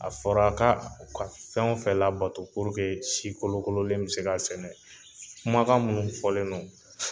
A fɔra a ka u ka fɛn o fɛn labato purke si kolonkololen bɛ se ka sɛnɛ kumakan minnu fɔlen don.